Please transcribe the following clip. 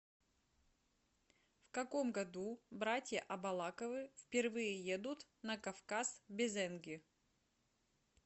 в каком году братья абалаковы впервые едут на кавказ в безенги